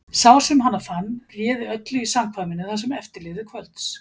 Sá sem hana fann réði öllu í samkvæminu það sem eftir lifði kvölds.